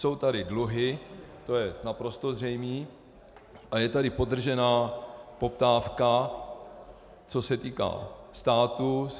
Jsou tady dluhy, to je naprosto zřejmé, a je tady podržená poptávka, co se týká státu.